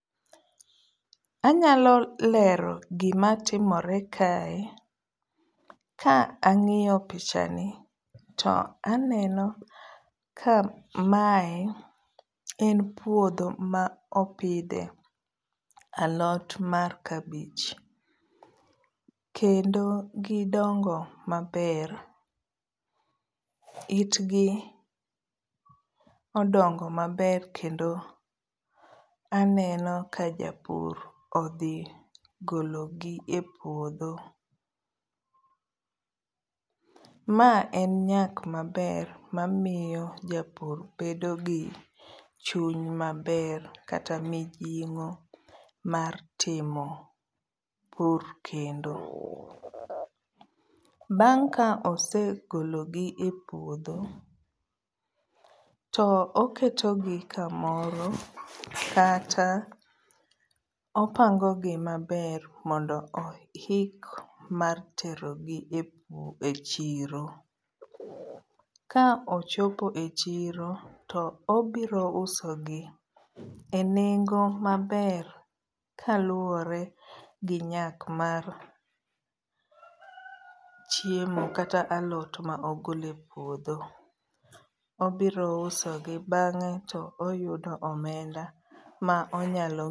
Anyalo lero gima timore kae. Ka ang'iyo pichani to aneno ka mae en puodho ma opidhe alot mar kabich. Kendo gidongo maber. Itgi odongo maber kendo aneno ka japur odhi gologi e puodho. Ma en nyak maber mamiyo japur bedo gi chuny maber kata mijing'o mar timo pur kendo .Bang' ka osegologi e puodho, to oketogi kamoro kata opangogi maber mondo oik mar terogi e chiro. Ka ochopo e chiro to obirousogi e nengo maber kaluore gi nyak mar chiemo kata alot ma ogole puodho. Obirousogi bang'e to oyudo omenda ma onyalo